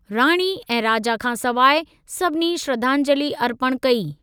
राणी ऐं राजा खां सवाइ, सभिनी श्रद्धांजलि अर्पण कई।